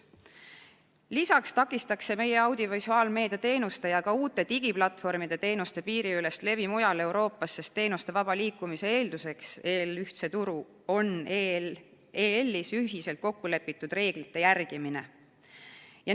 Lisaks takistaks see meie audiovisuaalmeedia teenuste ja ka uute digiplatvormide teenuste piiriülest levi mujal Euroopas, sest teenuste vaba liikumise eelduseks EL-i ühtsel turul on liidus ühiselt kokku lepitud reeglite järgimine.